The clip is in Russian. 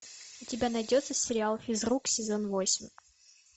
у тебя найдется сериал физрук сезон восемь